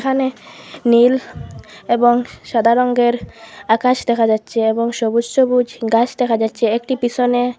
এখানে নীল এবং সাদা রঙ্গের আকাশ দেখা যাচ্ছে এবং সবুজ সবুজ গাছ দেখা যাচ্ছে একটি পিসনে--